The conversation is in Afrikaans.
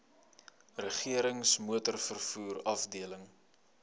regerings motorvervoer afdeling